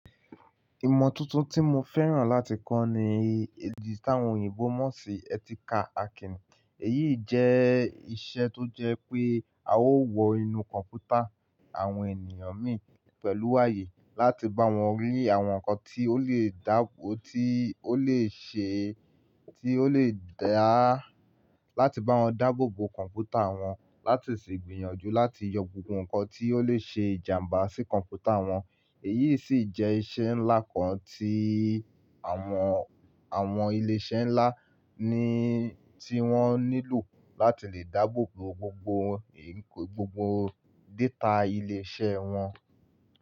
Ìmọ̀ tuntun tí mo fẹ́ràn láti kọ́ ni eji tawon oyìnbó mọ́ṣì ethical hacking. Èyí jẹ́ iṣẹ́ tó jẹ́ pé a ó wo inú kọ̀ǹpútà àwọn ènìyàn mi pẹ̀lú ààyè láti bá wọn rí àwọn nǹkan tí ó lè dá, tí ó lè ṣe, tí ó lè dá láti bá wọn dáàbò bo kọ̀ǹpútà wọn láti sì gbìyànjú láti yọ gbogbo nǹkan tí ó lè ṣe ìjàǹbá sí kọ̀ǹpútà wọn. Èyí sì jẹ́ iṣẹ́ ńlá kan tí àwọn, àwọn ilé iṣẹ́ ńlá ni tí wọ́n nílò láti lè dáàbò bo gbogbo, gbogbo data ilé iṣẹ́ wọn.